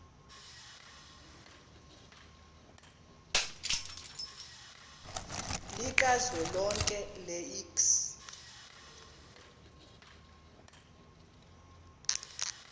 likazwelonke le iks